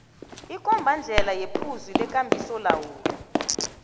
ikombandlela yephuzu lekambisolawulo